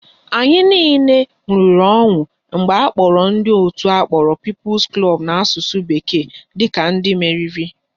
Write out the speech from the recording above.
Anyị niile ṅụrịrị ọṅụ mgbe akpọrọ ndị òtù akpọrọ Peoples Club n'asụsụ bekee dịka ndị meriri